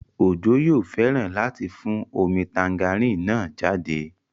Ojo yóò fẹ́ràn láti fún omi tangerine náà jáde